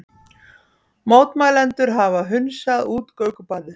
Mótmælendur hafa hunsað útgöngubannið